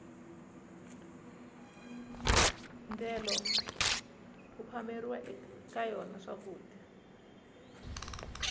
ndyelo ku phameriwa ka yona swakudya